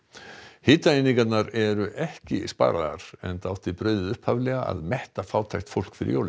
hitaeiningarnar eru ekki sparaðar enda átti brauðið upphaflega að metta fátækt fólk fyrir jólin